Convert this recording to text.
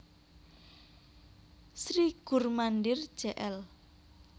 Sri Gur Mandir Jl